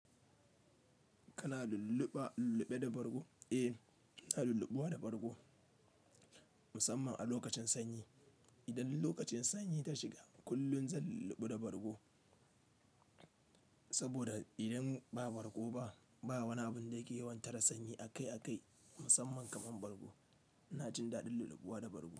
Kana lulluɓa, lulluɓe da bargo? Eh, na lulluɓuwa da bargo musamman a lokacin sanyi. Idan lokacin sanyi ta shiga kullum zan lulluɓu da bargo. Saboda idan ba bargo ba, ba wani abun da yake yawan tara sanyi akai-akai musamman kamar bargo. Na jin daɗin lulluɓuwa da bargo.